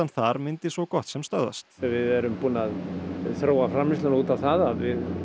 þar myndi svo gott sem stöðvast við erum búin að þróa framleiðsluna út á það að við